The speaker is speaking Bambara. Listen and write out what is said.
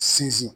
Sinzin